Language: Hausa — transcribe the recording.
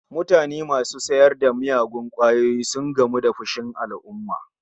Matasa masu sayar da miyagun kwayoyi sun gamu da fushin alumma